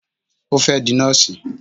O fẹ́ di Nọ́ọ̀sì